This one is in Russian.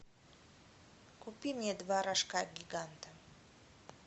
купи мне два рожка гиганта